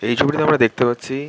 এই ছবিটিতে আমরা দেখতে পাচ্ছি--